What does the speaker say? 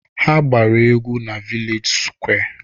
Ha gbara egwu na vilej sụkwé